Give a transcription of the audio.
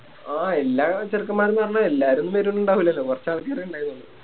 ആ എല്ലാ ചെറുക്കൻമ്മാരുന്ന് പറഞ്ഞ എല്ലാരും വരുന്നിടാവൂല്ലല്ലോ കൊറച്ചാൾക്കാരെ ഉണ്ടായിരുന്നുള്ളു